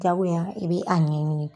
Jagoyala i bɛ a ɲɛɲini.